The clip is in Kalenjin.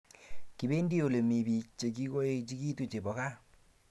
Kipendi olemii biik Che kikoechekitu chepo kaa